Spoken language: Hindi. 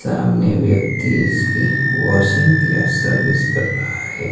सामने व्यक्ति इसकी वॉशिंग या सर्विस कर रहा है।